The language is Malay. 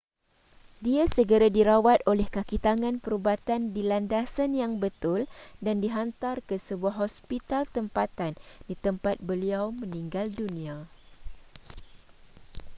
dia segera dirawat oleh kakitangan perubatan di landasan yang betul dan dihantar ke sebuah hospital tempatan di tempat beliau meninggal dunia